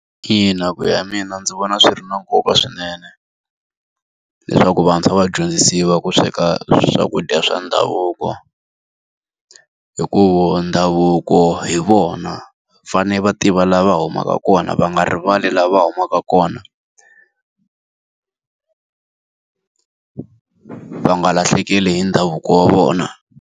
Ina ku ya hi mina ndzi vona swi ri na nkoka swinene. Leswaku vantshwa va dyondzisiwa ku sweka swakudya swa ndhavuko. Hikuva ndhavuko hi vona, va fanele va tiva laha va humaka kona, va nga rivali laha va humaka kona va nga lahlekeli hi ndhavuko wa vona.